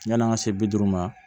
Yani an ka se bi duuru ma